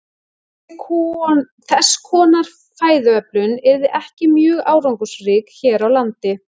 Þess konar fæðuöflun yrði ekki mjög árangursrík hér á landi.